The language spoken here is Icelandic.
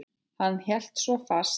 Hann hélt svo fast.